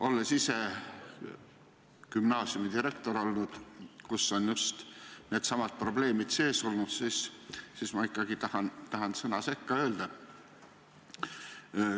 Olles ise olnud sellise gümnaasiumi direktor, kus on just needsamad probleemid olnud, tahan sõna sekka öelda.